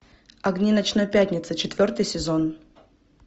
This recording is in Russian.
огни ночной пятницы четвертый сезон